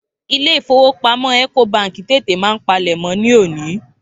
Ilé-ìfowópamó ẹ̀kòbaǹkì tètè máa ń palẹ̀mọ́ ní òní